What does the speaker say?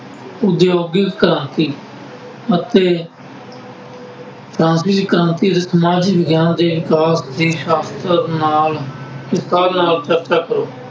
ਉਦਯੋਗਿਕ ਕ੍ਰਾਂਤੀ ਅਤੇ ਫਰਾਂਸੀ ਕ੍ਰਾਂਤੀ ਸਮਾਜ ਵਿਗਿਆਨ ਦੇ ਦੇ ਸਾਸ਼ਤਰ ਨਾਲ ਵਿਸਥਾਰ ਨਾਲ ਚਰਚਾ ਕਰੋ।